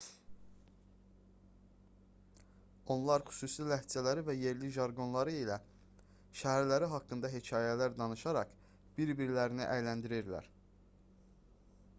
onlar xüsusi ləhcələri və yerli jarqonları ilə şəhərləri haqqında hekayələr danışaraq bir-birlərini əyləndirirlər